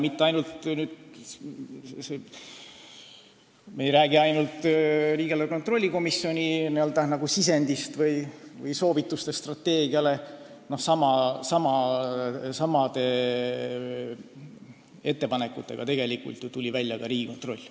Ma ei räägi mitte ainult riigieelarve kontrolli komisjoni sisendist või soovitustest strateegia kohta, samade ettepanekutega tuli ju välja ka Riigikontroll.